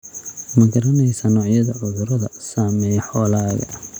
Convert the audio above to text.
Ma garanaysaa noocyada cudurada saameeya xoolahaaga?